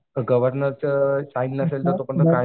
गव्हर्नरचं sign नसेल ना तोपर्यंत